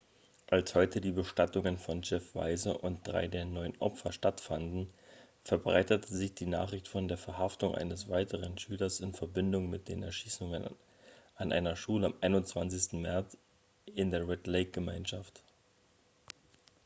als heute die bestattungen von jeff weise und drei der neun opfer stattfanden verbreitete sich die nachricht von der verhaftung eines weiteren schülers in verbindung mit den erschießungen an einer schule am 21. märz in der red-lake-gemeinschaft